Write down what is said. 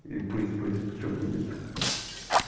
и пусть будет что будет